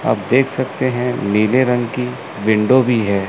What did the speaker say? आप देख सकते हैं नीले रंग की विंडो भी हैं।